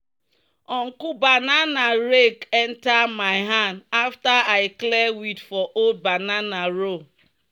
"uncle banana rake enter my hand after i clear weed for old banana row."